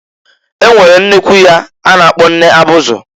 E nwere nnekwu ya a na-akpọ nne abụzị.